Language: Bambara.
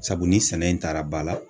Sabu ni sɛnɛ in taara ba la